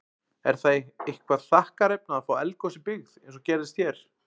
Er það eitthvað þakkarefni að fá eldgos í byggð, eins og gerðist hér?